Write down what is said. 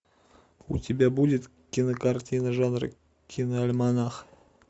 у тебя будет кинокартина жанра киноальманах